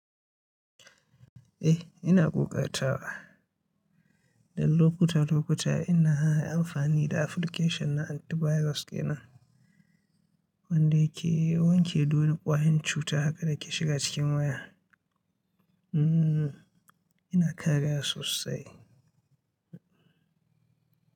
Eh ina ƙoƙar tawa. Dan lokuta lokuta ina amfani da application na antivirus ke nan wanda yake wanke dole ƙwayan cuta haka da ke shiga cikin waya. Hmmm ina karaya sosai.